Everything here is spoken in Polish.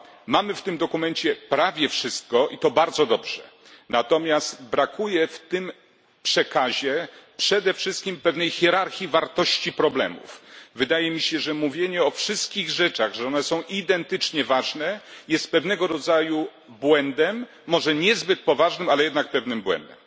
mamy w tym dokumencie prawie wszystko, to bardzo dobrze, natomiast brakuje w tym przekazie przede wszystkim pewnej hierarchii wartości problemów. Wydaje mi się, że mówienie, iż wszystkie kwestie są identycznie ważne, jest pewnego rodzaju błędem, może niezbyt poważnym, ale jednak pewnym błędem.